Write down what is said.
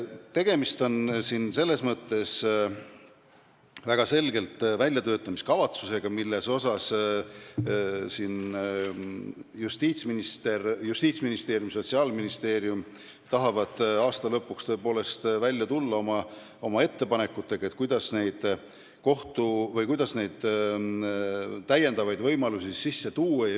Tegemist on väljatöötamiskavatsusega, Justiitsministeerium ja Sotsiaalministeerium tahavad aasta lõpuks välja tulla oma ettepanekutega, kuidas neid lisavõimalusi sisse tuua.